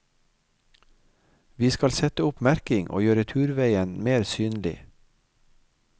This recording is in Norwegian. Vi skal sette opp merking og gjøre turveien mer synlig.